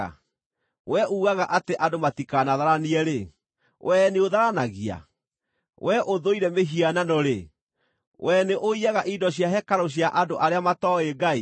Wee uugaga atĩ andũ matikanatharanie-rĩ, wee nĩũtharanagia? Wee ũthũire mĩhianano-rĩ, wee nĩũiyaga indo cia hekarũ cia andũ arĩa matooĩ Ngai?